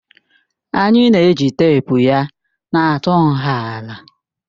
Anyị na-eji teepu ya na-atụ nha ala